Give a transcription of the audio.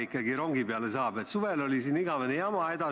Aga teine selle operatsiooni osapool on Mali relvajõud.